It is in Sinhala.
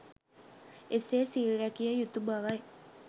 එසේ සිල් රැකිය යුතු බවයි.